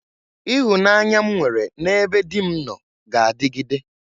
Ịhụnanya m nwere n'ebe di m nọ ga-adịgide.